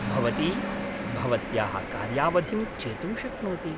भवती भवत्याः कार्यावधिं चेतुं शक्नोति।